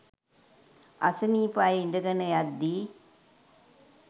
අසනීප අය ඉඳගන යද්දී